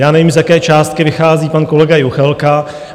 Já nevím, z jaké částky vychází pan kolega Juchelka.